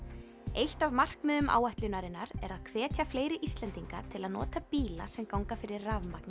eitt af markmiðum áætlunarinnar er að hvetja fleiri Íslendinga til að nota bíla sem ganga fyrir rafmagni